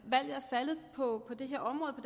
faldet på det her område og